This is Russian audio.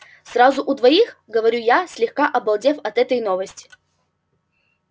сразу у двоих говорю я слегка обалдев от этой новости